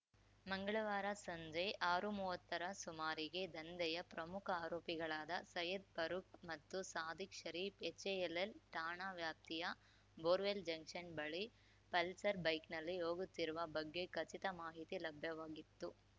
ಮಂಗಳವಾರ ಸಂಜೆ ಆರುಮುವ್ವತ್ತರ ಸುಮಾರಿಗೆ ದಂಧೆಯ ಪ್ರಮುಖ ಆರೋಪಿಗಳಾದ ಸಯ್ಯದ್‌ ಫಾರೂಕ್‌ ಮತ್ತು ಸಾದಿಕ್‌ ಶರೀಫ್‌ ಎಚ್‌ಎಎಲ್‌ಎಲ್‌ ಠಾಣಾ ವ್ಯಾಪ್ತಿಯ ಬೋರ್‌ವೆಲ್‌ ಜಂಕ್ಷನ್‌ ಬಳಿ ಪಲ್ಸರ್‌ ಬೈಕ್‌ನಲ್ಲಿ ಹೋಗುತ್ತಿರುವ ಬಗ್ಗೆ ಖಚಿತ ಮಾಹಿತಿ ಲಭ್ಯವಾಗಿತ್ತು